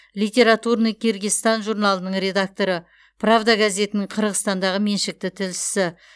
литературный киргизстан журналының редакторы правда газетінің қырғызстандағы меншікті тілшісі